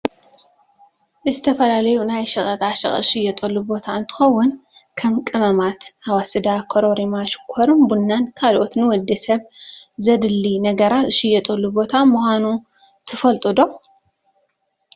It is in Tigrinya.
ዝተፈላለዩ ናይ ሸቀጣሸቀጥ ዝሽየጠሉ ቦታ እንትከውን ከም ቅመማት ኣዋስዳን ኮራሪማ ሽኮርን ቡናን ካልኦት ንወዲ ሰብ ዘድሊ ነገራት ዝሽየጠሉ ቦታ ምኳኑ ትፈልጡ ዶ ?